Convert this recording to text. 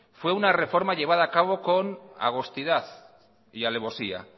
fue una reforma llevada a cabo con agostidad y alevosía